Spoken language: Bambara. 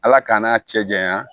Ala k'an' cɛ janya